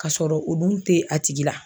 Ka sɔrɔ olu tɛ a tigi la